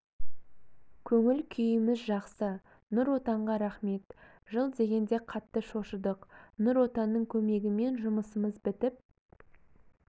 көңіл күйіміз жақсы нұр отанға рахмет жыл дегенде қатты шошыдық нұр отанның көмегімен жұмысымыз бітіп